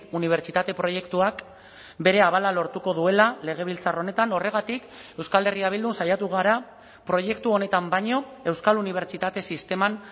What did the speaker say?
unibertsitate proiektuak bere abala lortuko duela legebiltzar honetan horregatik euskal herria bildun saiatu gara proiektu honetan baino euskal unibertsitate sisteman